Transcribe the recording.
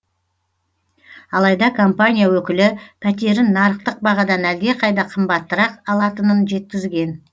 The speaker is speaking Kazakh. алайда компания өкілі пәтерін нарықтық бағадан әлдеқайда қымбаттырақ алатынын жеткізген